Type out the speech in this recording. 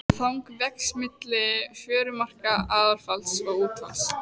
Þang vex milli fjörumarka aðfalls og útfalls.